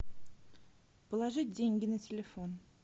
положить деньги на телефон